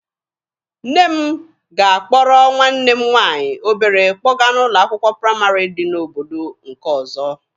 Nne m ga-akpọrọ nwanne m nwaanyị obere kpọga n'ụlọ akwụkwọ praịmarị dị n'obodo nke ọzọ.